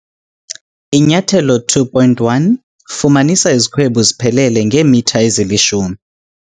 Inyathelo 2.1- Fumanisa izikhwebu ziphelele ngeemitha ezilishumi